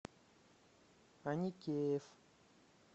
аникеев